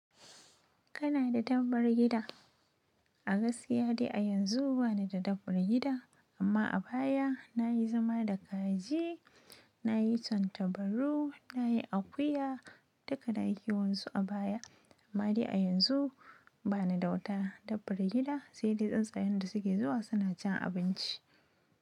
Kana da tabbar gida? A gaskiya dai a yanzu bani da dabbar gida, amma a baya nayi zama da kaji, nayi tantabaru, nayi akuya, duka nayi kewansu a baya. Amma dai a yanzu bani da wata dabbar gida, sai dai tsuntsayen da suke zuwa suna cin abinci.